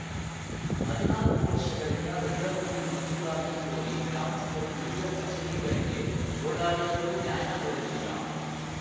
ಹದಿನಾಲ್ಕು ವರ್ಷಗಳಿಂದ ರುದ್ರಭೂಮಿ ಮಂಜೂರಾತಿ ಕೋರಿ ಗ್ರಾಮಸ್ಥರು ವಿವಿಧ ಕಚೇರಿಗಳಿಗೆ ಓಡಾಡಿದರೂ ನ್ಯಾಯ ದೊರೆತಿಲ್ಲ